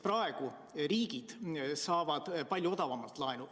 Praegu saavad riigid palju odavamalt laenu.